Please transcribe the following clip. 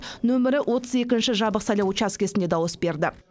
нөмірі отыз екінші жабық сайлау учаскесінде дауыс берді